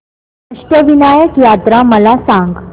अष्टविनायक यात्रा मला सांग